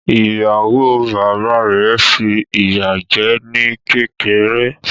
Ìyàwó bàbá rẹ̀ fi ìyá jẹ́ ní kékeré.